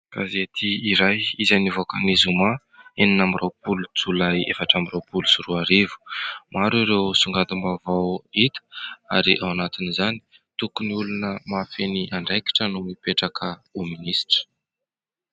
Gazety iray izay nivoaka ny zoma enina amby roapolo jolay efatra amby roapolo sy roarivo. Maro ireo songadim-baovao hita ary ao anatin'izany : Tokony olona mahafehy ny andraikitra no mipetraka ho minisitra.